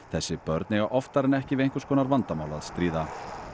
þessi börn eiga oftar en ekki við einhvers konar vandamál að stríða